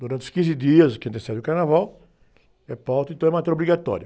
Durante os quinze dias que antecedem o carnaval, é pauta, então é matéria obrigatória.